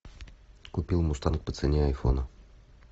купил мустанг по цене айфона